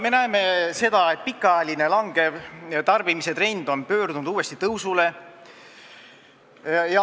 Me näeme seda, et pikaajaline alkoholi tarbimise langustrend on uuesti tõusule pöördunud.